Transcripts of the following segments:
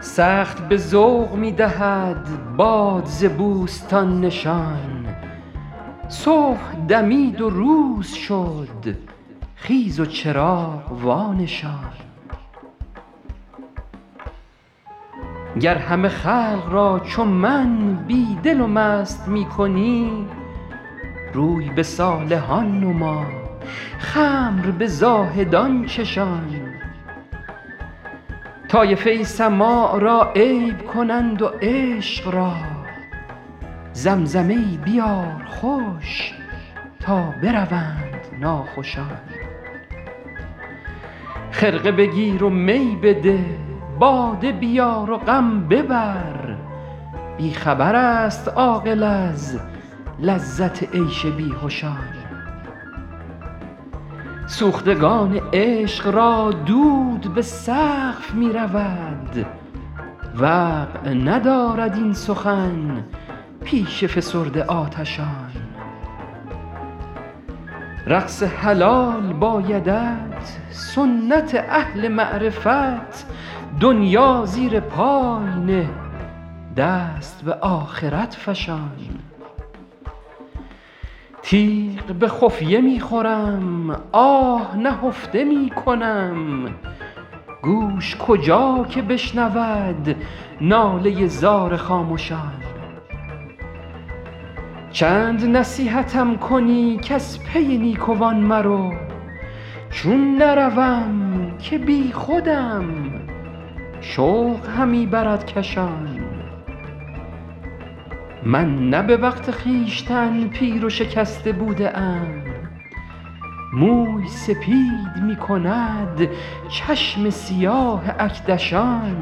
سخت به ذوق می دهد باد ز بوستان نشان صبح دمید و روز شد خیز و چراغ وانشان گر همه خلق را چو من بی دل و مست می کنی روی به صالحان نما خمر به زاهدان چشان طایفه ای سماع را عیب کنند و عشق را زمزمه ای بیار خوش تا بروند ناخوشان خرقه بگیر و می بده باده بیار و غم ببر بی خبر است عاقل از لذت عیش بیهشان سوختگان عشق را دود به سقف می رود وقع ندارد این سخن پیش فسرده آتشان رقص حلال بایدت سنت اهل معرفت دنیا زیر پای نه دست به آخرت فشان تیغ به خفیه می خورم آه نهفته می کنم گوش کجا که بشنود ناله زار خامشان چند نصیحتم کنی کز پی نیکوان مرو چون نروم که بیخودم شوق همی برد کشان من نه به وقت خویشتن پیر و شکسته بوده ام موی سپید می کند چشم سیاه اکدشان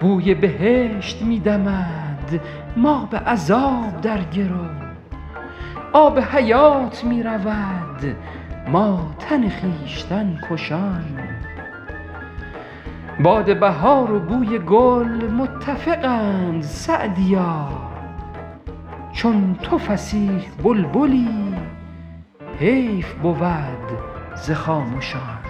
بوی بهشت می دمد ما به عذاب در گرو آب حیات می رود ما تن خویشتن کشان باد بهار و بوی گل متفقند سعدیا چون تو فصیح بلبلی حیف بود ز خامشان